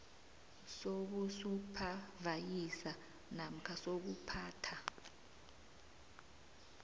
sobusuphavayiza namkha sokuphatha